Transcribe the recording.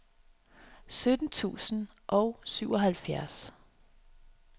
sytten tusind og syvoghalvfjerds